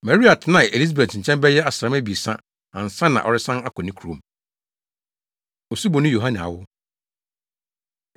Maria tenaa Elisabet nkyɛn bɛyɛ asram abiɛsa ansa na ɔresan akɔ ne kurom. Osuboni Yohane Awo